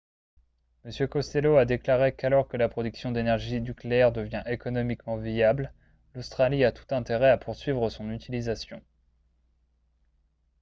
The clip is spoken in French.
m costello a déclaré qu'alors que la production d'énergie nucléaire devient économiquement viable l'australie a tout intérêt à poursuivre son utilisation